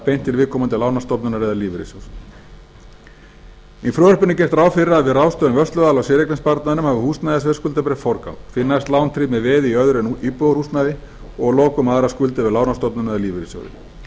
beint til viðkomandi lánastofnunar eða lífeyrissjóðs í frumvarpinu er gert ráð fyrir að við ráðstöfun vörsluaðila á séreignarsparnaðinum hafi húsnæðisveðskuldabréf forgang því næst lán tryggt með veði í öðru en íbúðarhúsnæði og að lokum aðrar skuldir við lánastofnun eða lífeyrissjóði